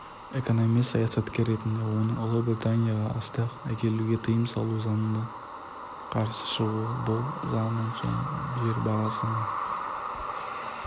экономист саясаткер ретінде оның ұлыбританияға астық әкелуге тыйым салу заңына қарсы шығуы бұл заңнан соң жер бағасының